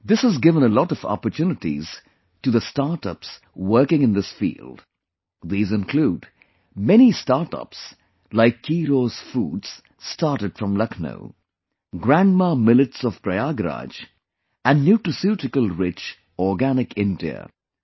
This has given a lot of opportunities to the startups working in this field; these include many startups like 'Keeros Foods' started from Lucknow, 'GrandMaa Millets' of Prayagraj and 'Nutraceutical Rich Organic India'